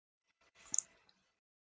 í erindi þessi lítil tvö.